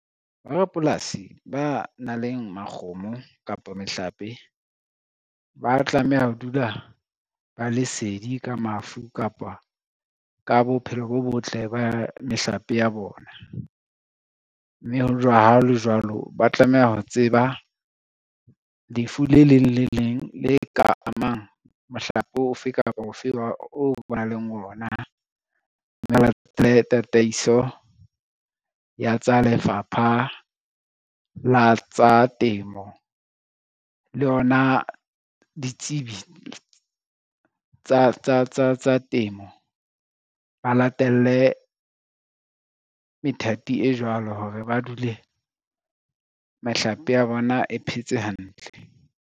Borapolasi ba nang le makgomo kapa mehlape, ba tlameha ho dula ba le sedi ka mafu kapa ka bophelo bo botle ba mehlape ya bona, mme hao le jwalo ba tlameha ho tseba lefu le leng le leng le ka amang mohlape ofe kapa ofe oo ba nang le ona. Tataiso ya tsa lefapha la tsa temo le yona ditsebi tsa temo ba latelle methati e jwalo hore ba dule mehlape ya bona e phetse hantle.